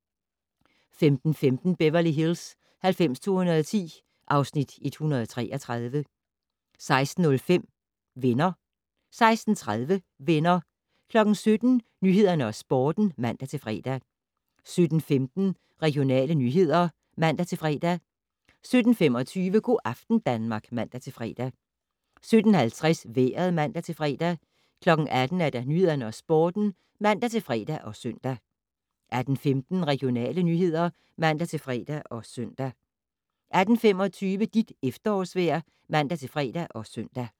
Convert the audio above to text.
15:15: Beverly Hills 90210 (Afs. 133) 16:05: Venner 16:30: Venner 17:00: Nyhederne og Sporten (man-fre) 17:15: Regionale nyheder (man-fre) 17:25: Go' aften Danmark (man-fre) 17:50: Vejret (man-fre) 18:00: Nyhederne og Sporten (man-fre og søn) 18:15: Regionale nyheder (man-fre og søn) 18:25: Dit efterårsvejr (man-fre og søn)